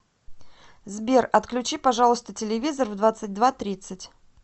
сбер отключи пожалуйста телевизор в двадцать два тридцать